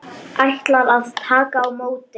Ætlar að taka á móti.